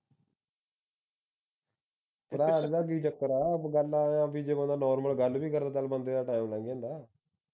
ਕੀ ਚੱਕਰ ਆ ਬਈ ਗੱਲ ਆ ਬਈ ਜਦੋਂ ਦਾ normal ਗੱਲ ਵੀ ਕਰੇ ਉਦੋਂ ਤੱਕ ਬੰਦੇ ਦਾ ਟਾਈਮ ਲੰਗ ਜਾਂਦਾ ਆ